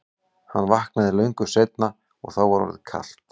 Hann vaknaði löngu seinna og var þá orðið kalt.